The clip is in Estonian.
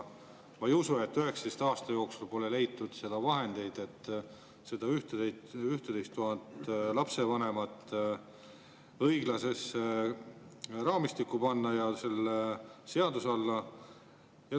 Ma ei usu, et 19 aasta jooksul pole leitud vahendeid, et neid 11 000 lapsevanemat õiglasesse seadusraamistikku panna.